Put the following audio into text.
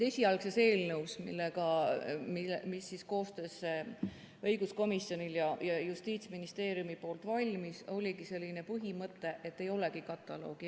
Esialgses eelnõus, mis õiguskomisjoni ja Justiitsministeeriumi koostöös valmis, oligi selline põhimõte, et ei olegi kataloogi.